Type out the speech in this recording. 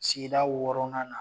Sigida wɔɔrɔnan na